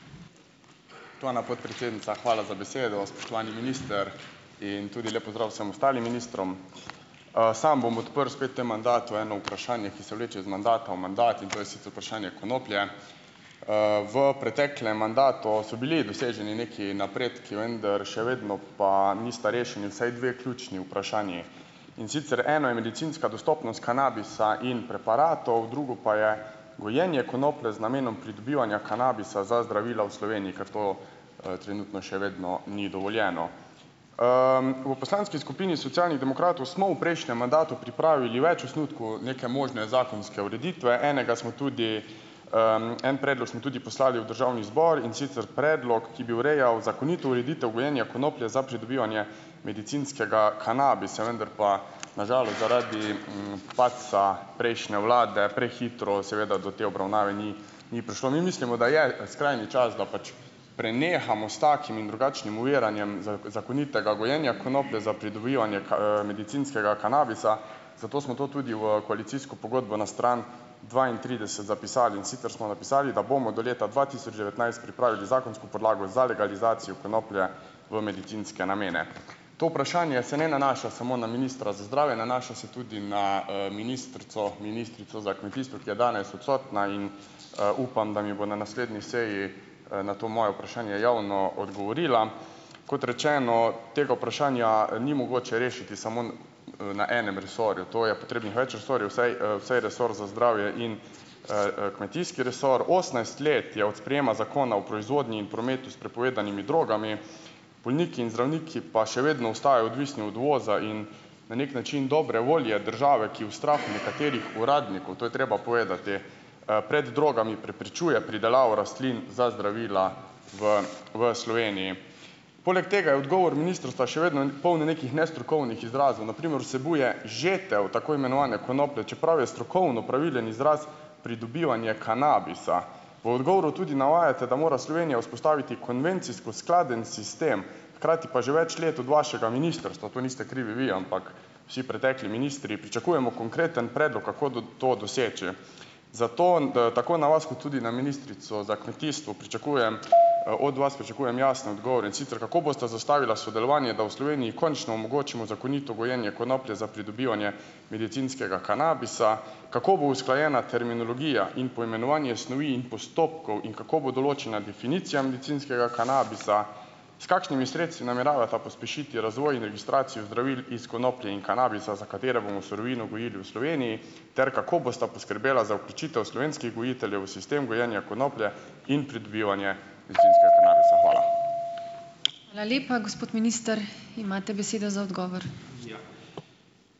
Spoštovana podpredsednica, hvala za besedo, spoštovani minister in tudi lep pozdrav vsem ostalim ministrom. Sam bom odprl spet v tem mandatu eno vprašanje, ki se vleče iz mandata v mandat, in to je sicer vprašanje konoplje. V preteklem mandatu so bili doseženi neki napredki, vendar še vedno pa nista rešeni vsaj dve ključni vprašanji. In sicer eno je medicinska dostopnost kanabisa in preparatov, drugo pa je gojenje konoplje z namenom pridobivanja kanabisa za zdravila v Sloveniji, ker to, trenutno še vedno ni dovoljeno. V poslanski skupini Socialnih demokratov smo v prejšnjem mandatu pripravili več osnutkov neke možne zakonske ureditve, enega smo tudi, en predlog smo tudi poslali v državni zbor, in sicer predlog, ki bi urejal zakonito ureditev gojenja konoplje za pridobivanje medicinskega kanabisa. Vendar pa na žalost zaradi, padca prejšnje vlade prehitro seveda do te obravnave ni ni prišlo. Mi mislimo, da je skrajni čas, da pač prenehamo s takim in drugačnim oviranjem zakonitega gojenja konoplje za pridobivanje medicinskega kanabisa, zato smo to tudi v koalicijsko pogodbo na stran dvaintrideset zapisali, in sicer smo napisali, da bomo do leta dva tisoč devetnajst pripravili zakonsko podlago za legalizacijo konoplje v medicinske namene. To vprašanje se ne nanaša na samo na ministra za zdravje, nanaša se tudi na, ministrico ministrico za kmetijstvo, ki je danes odsotna in, upam, da mi bo na naslednji seji, na to moje vprašanje javno odgovorila. Kot rečeno, tega vprašanja, ni mogoče rešiti samo, na enem resorju. To je potrebnih več resorjev, vsaj, vsaj resor za zdravje in, kmetijski resor. Osemnajst let je od sprejema Zakona o proizvodnji in prometu s prepovedanimi drogami, bolniki in zdravniki pa še vedno ostajajo odvisni od uvoza in na neki način dobre volje države, ki v strahu nekaterih uradnikov, to je treba povedati, pred drogami preprečuje pridelavo rastlin za zdravila v v Sloveniji. Poleg tega je odgovor ministrstva še vedno poln nekih nestrokovnih izrazov, na primer vsebuje "žetev" tako imenovane konoplje, čeprav je strokovno pravilen izraz "pridobivanje kanabisa". V odgovoru tudi navajate, da mora Slovenija vzpostaviti konvencijsko skladen sistem, hkrati pa že več let od vašega ministrstva, tu niste krivi vi, ampak vsi preteklih ministri, pričakujemo konkreten predlog, kako do to doseči. Zato tako na vas kot tudi na ministrico za kmetijstvo pričakujem, od vas pričakujem jasne odgovore, in sicer: Kako bosta zastavila sodelovanje, da v Sloveniji končno omogočimo zakonito gojenje konoplje za pridobivanje medicinskega kanabisa? Kako bo usklajena terminologija in poimenovanje snovi in postopkov in kako bo določena definicija medicinskega kanabisa? S kakšnimi sredstvi nameravata pospešiti razvoj in registracijo zdravil iz konoplje in kanabisa, za katere bomo surovino gojili v Sloveniji? Ter kako bosta poskrbela za vključitev slovenskih gojiteljev v sistem gojenja konoplje in pridobivanje medicinskega kanabisa? Hvala.